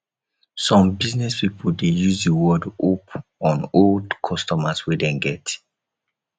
some business pipo de use di word hope on old customers wey dem get